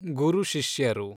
ಗುರು ಶಿಷ್ಯರು